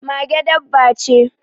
Mage dabba ce.